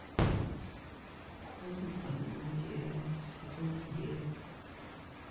холм одного дерева сезон девять